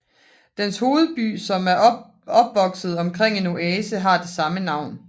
Dens hovedby som er opvokset omkring en oase har det samme navn